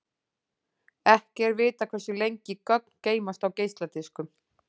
Ekki er vitað hversu lengi gögn geymast á geisladiskum.